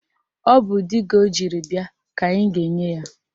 Ọ bụ diga ọ jiri bịa ka anyị ga-enye ya.